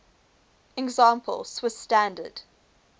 example swiss standard